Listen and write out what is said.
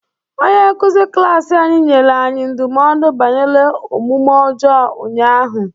Onye nkuzi klaasị anyị nyere anyị ndụmọdụ banyere omume ọjọọ ụnyaahụ.